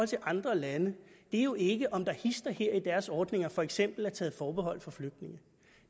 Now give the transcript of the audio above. til andre lande er jo ikke om der hist og her i deres ordninger for eksempel er taget forbehold for flygtninge